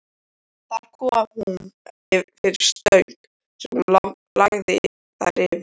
Þar kom hún fyrir stöng sem hún lagði þær yfir.